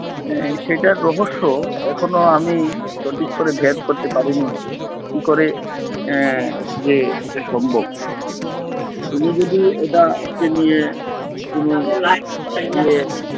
আহ সেটা রহস্য এখনো আমি সঠিক করে ভেদ করতে পারিনি কি করে আহ যে এটা সম্ভব তিনি যদি এটাকে নিয়ে যে